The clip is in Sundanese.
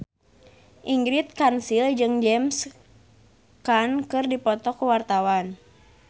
Ingrid Kansil jeung James Caan keur dipoto ku wartawan